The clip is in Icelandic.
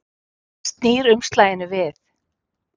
Hann snýr umslaginu við.